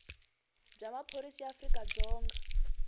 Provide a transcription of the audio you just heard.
bya maphorisa ya afrika dzonga